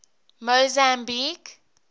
mozambique